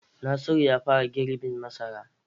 Nasiru ya fara girbin masara.